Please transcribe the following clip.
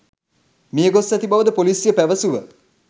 මියගොස් ඇති බවද ‍පොලිසිය පැවසුව